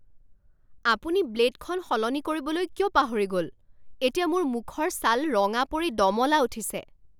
আপুনি ব্লে'ডখন সলনি কৰিবলৈ কিয় পাহৰি গ'ল? এতিয়া মোৰ মুখৰ ছাল ৰঙা পৰি দমলা উঠিছে!